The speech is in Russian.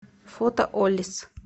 фото оллис